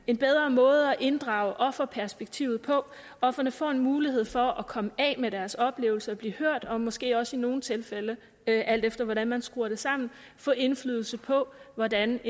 en bedre måde at inddrage offerperspektivet på ofrene får en mulighed for at komme af med deres oplevelser at blive hørt og måske også i nogle tilfælde alt efter hvordan man skruer det sammen få indflydelse på hvordan